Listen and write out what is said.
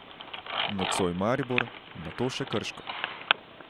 Nocoj Maribor, nato še Krško.